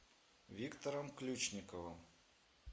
виктором ключниковым